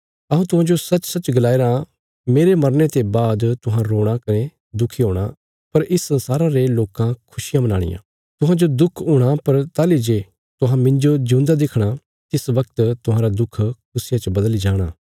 हऊँ तुहांजो सचसच गलाया राँ मेरे मरने ते बाद तुहां रोणा कने दुखी हूणा पर इस संसारा रे लोकां खुशियां मनाणियां तुहांजो दुख हूणा पर ताहली जे तुहां मिन्जो जिऊंदा देखणा तिस वगत तुहांरा दुख खुशिया च बदली जाणा